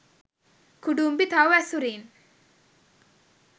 කුඩුම්බි, තව් ඇසුරින්